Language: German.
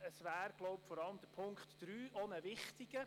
Vor allem Punkt 3 wäre wohl wichtig.